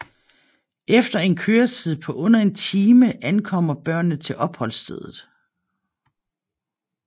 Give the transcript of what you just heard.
Efter en køretid på under en time ankommer børnene til opholdsstedet